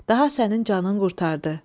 daha sənin canın qurtardı.